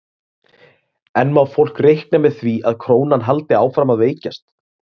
En má fólk reikna með því að krónan haldi áfram að veikjast?